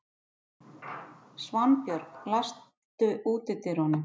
Svanbjörg, læstu útidyrunum.